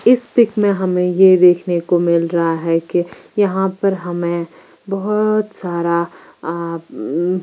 इस पीक मे हमे ये देखने को मिल रहा है की यहाँ पर हमे बहुत सारा --